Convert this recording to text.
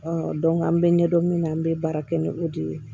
an bɛ ɲɛ dɔn min na an bɛ baara kɛ ni o de ye